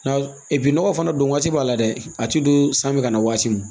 Na nɔgɔ fana don waati b'a la dɛ a tɛ don san bɛ ka na waati min